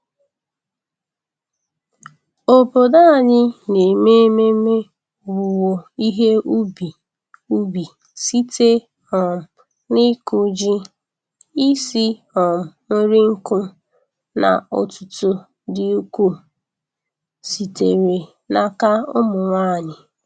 Obodo anyị na-eme ememe owuwe ihe ubi ubi site um n'ịkụ ji, isi um nri nkụ, na otuto dị ukwuu sitere n'aka ụmụ nwanyị.